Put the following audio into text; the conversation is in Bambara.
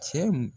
Cɛ